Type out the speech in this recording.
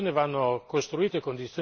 Parliamo di milioni di persone.